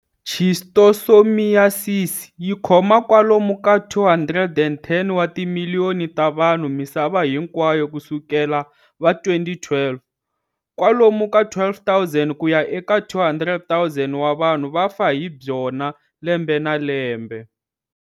Schistosomiyasisi yi khoma kwalomu ka 210 wa timiliyoni ta vanhu misava hinkwayo ku sukela va 2012. Kwalomu ka 12,000 ku ya eka 200, 000 wa vanhu va fa hi byona lembe na lembe.